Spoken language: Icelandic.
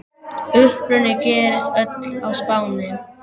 Uppruni gerist öll á Spáni.